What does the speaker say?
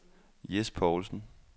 Jes Paulsen